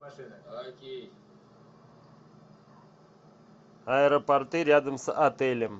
аэропорты рядом с отелем